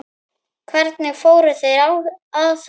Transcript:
Hvernig fóru þeir að þessu?